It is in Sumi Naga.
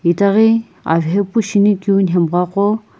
itaghi avehepu shinikeu nhemgha qo.